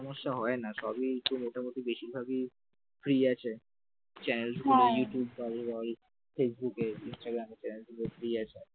সমস্যা হয় না সবই তো মোটামুটি বেশিরভাগই ফ্রি আছে চ্যানেল বল ইউটিউব বল ফেসবুকে ইনস্টাগ্রামে channels গুলো free আছে ।